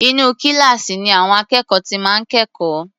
Inú kíláàsì ni àwọn akẹ́kọ̀ọ́ ti máa ń kẹ́kọ̀ọ́.